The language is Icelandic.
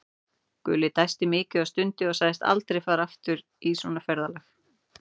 Gulli dæsti mikið og stundi og sagðist aldrei aftur fara í svona ferðalag.